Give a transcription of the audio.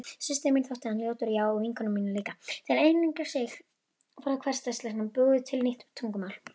Systur minni þótti hann ljótur já og vinkonum mínum líka.